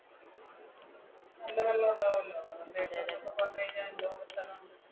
നല്ല വെള്ളം ഉണ്ടാവുമല്ലോ